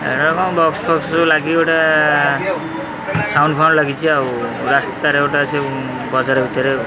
ଏଠାରେ କଣ ବକ୍ସ ଫକ୍ସ ସବୁ ଲାଗିକି ଗୋଟେ ସାଉଣ୍ଡ ଫାଉଣ୍ଡ ଲାଗିଚି। ଆଉ ରାସ୍ତାରେ ଗୋଟେ ଅଛି ବଜାର ଭିତରେ ଆଉ।